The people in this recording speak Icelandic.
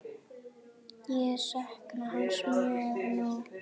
Ég sakna hans mjög nú.